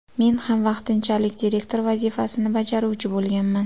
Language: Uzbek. Men ham vaqtinchalik direktor vazifasini bajaruvchi bo‘lganman.